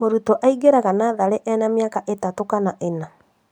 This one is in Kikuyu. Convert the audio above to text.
Mũrutwo aingĩraga natharĩ ena mĩaka itatũ kana ĩna